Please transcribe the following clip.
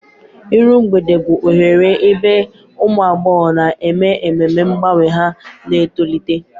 Iru Mgbede bụ oghere ebe ụmụ agbọghọ na-eme ememe mgbanwe ha na-etolite.